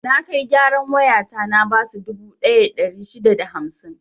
Na kai gyaran wayata na basu dubu ɗaya da ɗari shida da hamsin.